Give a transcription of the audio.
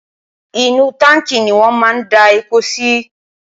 inú táǹkì ni wọn máa n da epo si